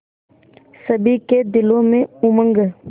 सभी के दिलों में उमंग